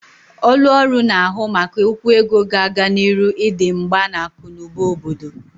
Ọlụ ọrụ na-ahu maka okwu ego ga-aga n'iru idi mgba n'akụ na ụba obodo.